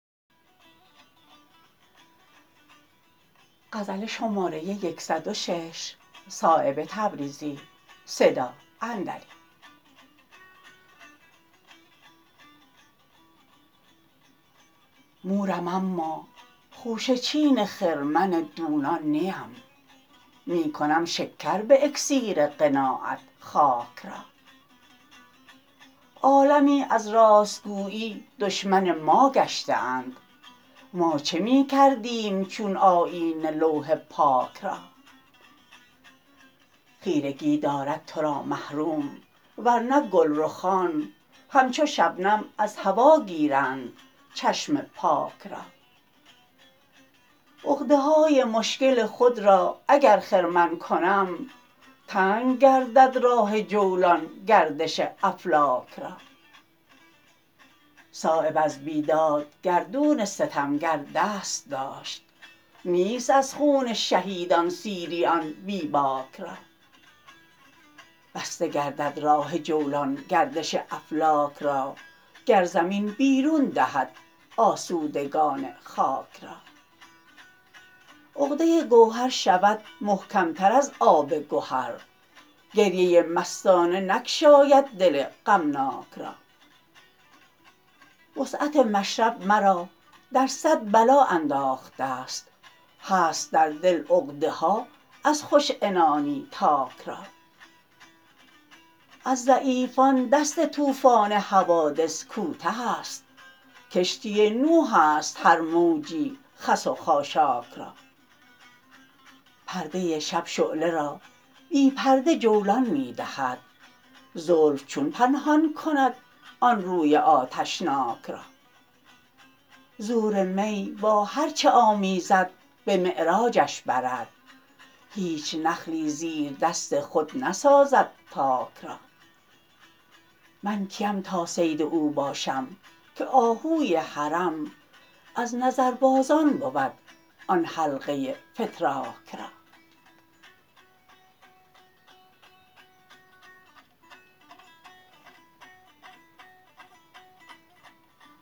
مورم اما خوشه چین خرمن دونان نیم می کنم شکر به اکسیر قناعت خاک را عالمی از راستگویی دشمن ما گشته اند ما چه می کردیم چون آیینه لوح پاک را خیرگی دارد ترا محروم ورنه گلرخان همچو شبنم از هوا گیرند چشم پاک را عقده های مشکل خود را اگر خرمن کنم تنگ گردد راه جولان گردش افلاک را صایب از بیداد گردون ستمگر دست داشت نیست از خون شهیدان سیری آن بی باک را بسته گردد راه جولان گردش افلاک را گر زمین بیرون دهد آسودگان خاک را عقده گوهر شود محکم تر از آب گهر گریه مستانه نگشاید دل غمناک را وسعت مشرب مرا در صد بلا انداخته است هست در دل عقده ها از خوش عنانی تاک را از ضعیفان دست طوفان حوادث کوته است کشتی نوح است هر موجی خس و خاشاک را پرده شب شعله را بی پرده جولان می دهد زلف چون پنهان کند آن روی آتشناک را زور می با هر چه آمیزد به معراجش برد هیچ نخلی زیر دست خود نسازد تاک را من کیم تا صید او باشم که آهوی حرم از نظربازان بود آن حلقه فتراک را